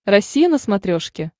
россия на смотрешке